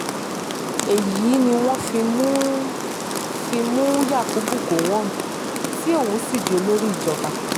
èyí ni wọ́n fi mú fi mú yakubu gọ̀wọ́n tí òun sì di olórí ìjọba